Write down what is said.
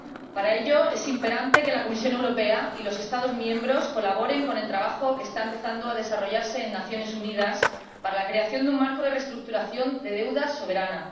Para ello, es imperante que la Comisión Europea y los Estados miembros colaboren con el trabajo que está empezando a desarrollarse en las Naciones Unidas para la creación de un marco de reestructuración de la deuda soberana.